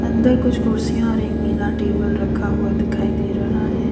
अंदर कुछ कुर्सियां और एक नीला टेबल रखा हुआ दिखाई दे रहा है।